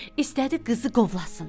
İstədi qızı qovlasın.